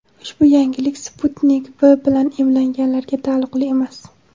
ushbu yengillik "Sputnik V" bilan emlanganlarga taalluqli emas.